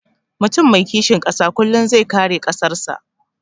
Mutum mai kishin ƙasa kullum zai kare ƙasan sa